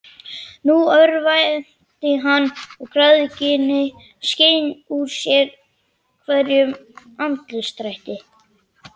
Nú örvænti hann, og græðgin skein úr sérhverjum andlitsdrætti.